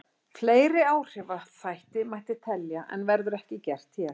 Fleiri áhrifaþætti mætti telja en verður ekki gert hér.